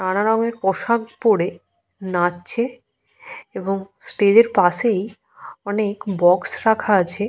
নানারঙের পোশাক পরে নাচছে এবং স্টেজ -এর পাশেই অনেক বক্স রাখা আছে।